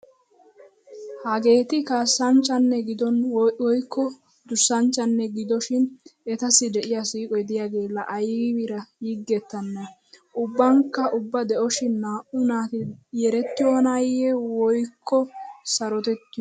Hageeti kaassanchchanne gidona woykko durssanchchanne gidonashin etassi de"iyaa siiqo de'iyaage laa aybiira yigettanee. Ubbankka ubba de'oshin naa"u naati yerettiyoonaayye woykko sarotettiyona.